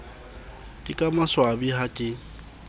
ke ka maswabi ha ke